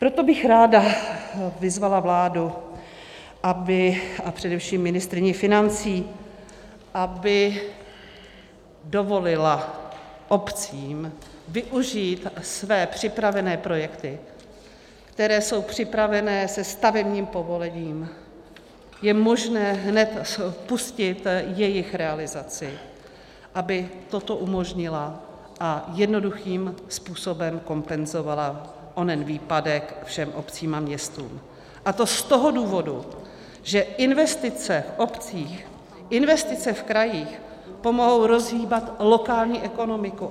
Proto bych ráda vyzvala vládu a především ministryni financí, aby dovolila obcím využít své připravené projekty, které jsou připravené se stavebním povolením, je možné hned spustit jejich realizaci, aby toto umožnila a jednoduchým způsobem kompenzovala onen výpadek všem obcím a městům, a to z toho důvodu, že investice v obcích, investice v krajích pomohou rozhýbat lokální ekonomiku.